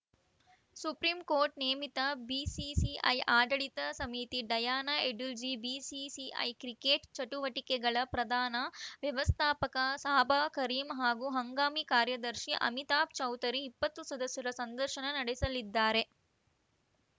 supreme court ನೇಮಿತ BCCI ಆಡಳಿತ ಸಮಿತಿ ಡಯಾನ ಎಡುಲ್ಜಿ ಬಿಸಿಸಿಐ ಕ್ರಿಕೆಟ್‌ ಚಟುವಟಿಕೆಗಳ ಪ್ರಧಾನ ವ್ಯವಸ್ಥಾಪಕ ಸಾಬಾ ಕರೀಂ ಹಾಗೂ ಹಂಗಾಮಿ ಕಾರ್ಯದರ್ಶಿ ಅಮಿತಾಭ್‌ ಚೌಧರಿ ಇಪ್ಪತ್ತು ಸದಸ್ಯರ ಸಂದರ್ಶನ ನಡೆಸಲಿದ್ದಾರೆ